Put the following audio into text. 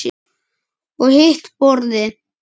Og hitt borðið?